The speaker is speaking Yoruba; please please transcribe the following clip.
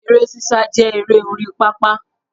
Eré sísá jẹ́ eré orí pápá